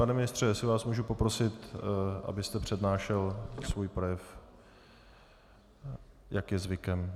Pane ministře, jestli vás můžu poprosit, abyste přednášel svůj projev, jak je zvykem.